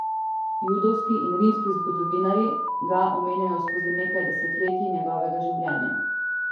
Judovski in rimski zgodovinarji ga omenjajo skozi nekaj desetletij njegovega življenja.